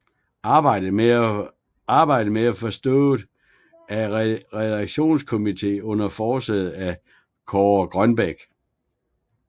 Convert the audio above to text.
Arbejdet blev forestået af en redaktionskomité under forsæde af Kaare Grønbech